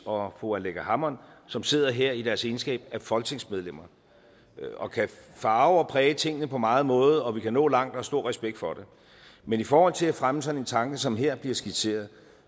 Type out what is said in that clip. og fru aleqa hammond som sidder her i deres egenskab af folketingsmedlemmer og kan farve og præge tingene på mange måder og vi kan nå langt og stor respekt for det men i forhold til at fremme sådan en tanke som her bliver skitseret